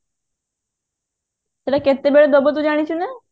ସେଇଟା କେତେବେଳେ ଦବ ତୁ ଜାଣିଛୁ ନା